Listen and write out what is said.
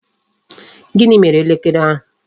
Gịnị mere elekere ahụ?